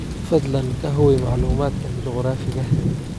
fadlan ka hubi macluumaadkan juqraafiga